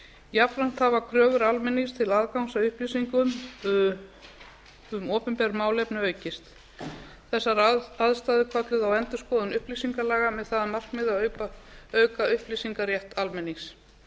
jafnframt hafa kröfur almennings til aðgangs að upplýsingum um opinber málefni aukist þessar aðstæður kölluðu á endurskoðun upplýsingalaga með það að markmiði að auka upplýsingarétt almennings